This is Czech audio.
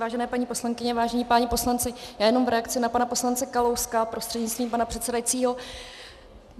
Vážené paní poslankyně, vážení páni poslanci, já jenom v reakci na pana poslance Kalouska prostřednictvím pana předsedajícího.